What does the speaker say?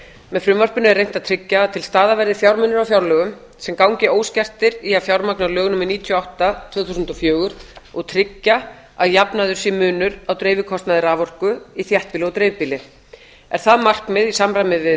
með frumvarpinu er reynt að tryggja að til staðar verði fjármunir á fjárlögum sem gangi óskertir í að fjármagna lög númer níutíu og átta tvö þúsund og fjögur og tryggja að jafnaður sé munur á dreifikostnaði raforku í þéttbýli og dreifbýli er það markmið í